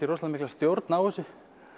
rosalega mikla stjórn á þessu